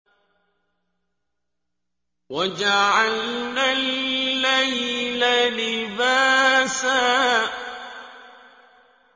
وَجَعَلْنَا اللَّيْلَ لِبَاسًا